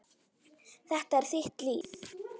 Þetta er þitt líf